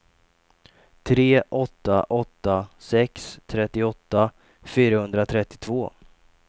tre åtta åtta sex trettioåtta fyrahundratrettiotvå